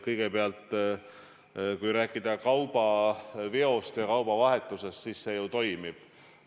Kõigepealt, kui rääkida kaubaveost ja kaubavahetusest, siis see ju toimib.